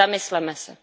Zamysleme se.